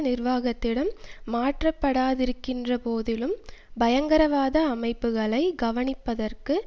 நிர்வாகத்திடம் மாற்றப்படாதிருக்கின்ற போதிலும் பயங்கரவாத அமைப்புக்களை கவனிப்பதற்கு